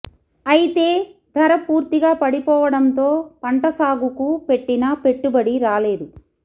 అయితే ధర పూర్తిగా పడిపోవడంతో పంట సాగుకు పెట్టిన పెట్టుబడి రాలేదు